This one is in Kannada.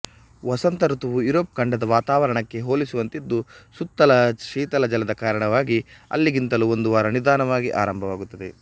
ವಸಂತಋತುವು ಯೋರೋಪ್ ಖಂಡದ ವಾತಾವರಣಕ್ಕೆ ಹೋಲಿಸುವಂತಿದ್ದು ಸುತ್ತಣ ಶೀತಲ ಜಲದ ಕಾರಣವಾಗಿ ಅಲ್ಲಿಗಿಂತಲೂ ಒಂದು ವಾರ ನಿಧಾನವಾಗಿ ಆರಂಭವಾಗುತ್ತದೆ